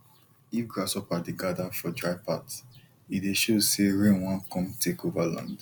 if grasshopper dey gather for dry path e dey show say rain wan come take over land